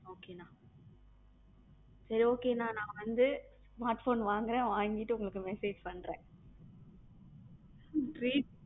Okay அண்ணா சேரி okay அண்ணா நான் வந்து smartphone வாங்குறேன் வாங்கிட்டு உங்களுக்கு message பண்றேன்